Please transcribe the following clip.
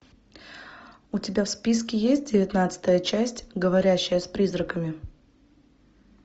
у тебя в списке есть девятнадцатая часть говорящая с призраками